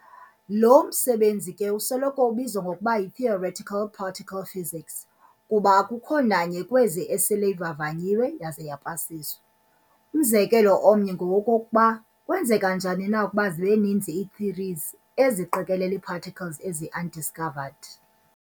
Lo msebenzi ke usoloko ubizwa ngokuba yi-theoretical particle physics, kuba akukho nanye kwezi esele ivavanyiwe yaza yapasiswa. Umzekelo omnye ngowokokuba kwenzeka njani na ukuba zibeninzi ii-thoeries eziqikelela iiparticles eziundiscovered.